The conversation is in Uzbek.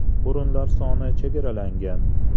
O‘rinlar soni chegaralangan!